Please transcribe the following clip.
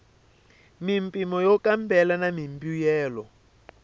mimpimo yo kambela na mimbuyelo